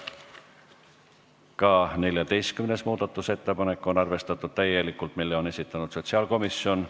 Ka 14. muudatusettepanek on arvestatud täielikult, selle on esitanud sotsiaalkomisjon.